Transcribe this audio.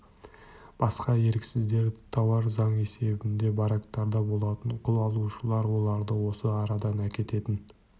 басқа еріксіздер тауар заң есебінде барактарда болатын құл алушылар оларды осы арадан әкететін